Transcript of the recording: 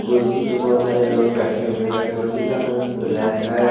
कुर्सी पे बहोत सारे लोग बैठे हुए हैं कुर्सी का रंग ब्लैक है।